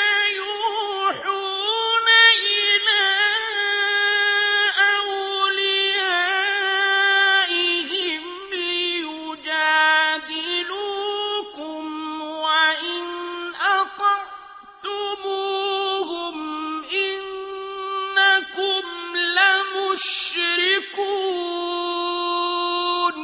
لَيُوحُونَ إِلَىٰ أَوْلِيَائِهِمْ لِيُجَادِلُوكُمْ ۖ وَإِنْ أَطَعْتُمُوهُمْ إِنَّكُمْ لَمُشْرِكُونَ